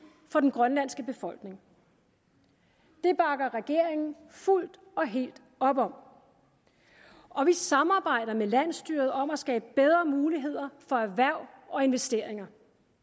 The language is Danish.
for den grønlandske befolkning det bakker regeringen fuldt og helt op om og vi samarbejder med landsstyret om at skabe bedre muligheder for erhverv og investeringer